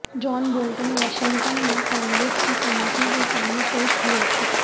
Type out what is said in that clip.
جان Bolton Washington میں Congress کی committee کے سامنے پیش ہوئے تھے